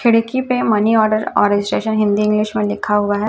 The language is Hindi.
खिड़की पे मनी ऑर्डर और स्टेशन हिंदी इंग्लिश में लिखा हुआ है।